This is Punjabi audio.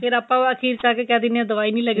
ਫੇਰ ਆਪਾ ਅਖੀਰ ਚ ਆਕੇ ਕਹਿ ਦਿੰਨੇ ਆ ਦਵਾਈ ਨੀ ਲੱਗਦੀ